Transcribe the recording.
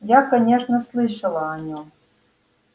я конечно слышала о нем